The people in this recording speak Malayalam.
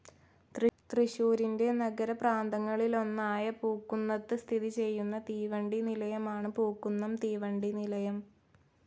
തൃശൂരിൻ്റെ നഗരപ്രാന്തങ്ങളിലൊന്നായ പൂക്കുന്നത്ത് സ്ഥിതി ചെയുന്ന തീവണ്ടി നിലയമാണ് പൂക്കുന്നം തീവണ്ടി നിലയം.